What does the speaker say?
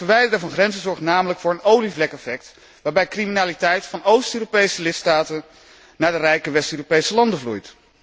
Het verwijderen van grenzen zorgt namelijk voor een olievlekeffect waarbij criminaliteit van Oost Europese lidstaten naar de rijke West Europese landen vloeit.